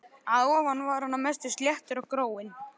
Að ofan var hann að mestu sléttur og gróinn.